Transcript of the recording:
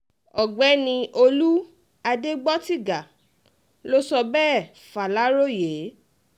ọ̀gbẹ́ni olú adégbòtiga ló sọ bẹ́ẹ̀ faláròyé